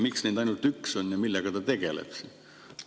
Miks neid ainult üks on ja millega ta tegeleb?